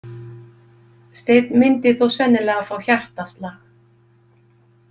Steinn myndi þó sennilega fá hjartaslag.